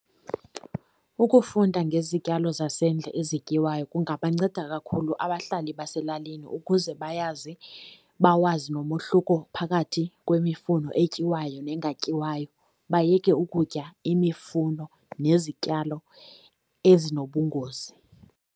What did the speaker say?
Ukufunda ngezityalo zasendle ezityiwayo kungabanceda kakhulu abahlali baselalini ukuze bayazi bawazi nomehluko phakathi kwimifuno etyiwayo nengatyiwayo, bayeke ukutya imifuno nezityalo ezinobungozi.